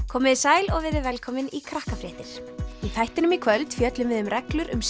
komiði sæl og verið velkomin í Krakkafréttir í þættinum í kvöld fjöllum við um reglur um